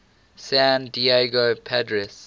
san diego padres